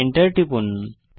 Enter টিপুন